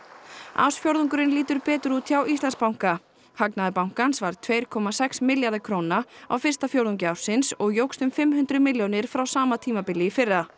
ársfjórðungurinn lítur betur út hjá Íslandsbanka hagnaður bankans var tveir komma sex milljarðar króna á fyrsta fjórðungi ársins og jókst um fimm hundruð milljónir frá sama tímabili í fyrra